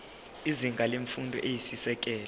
izinga lemfundo eyisisekelo